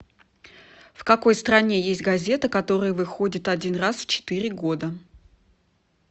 в какой стране есть газета которая выходит один раз в четыре года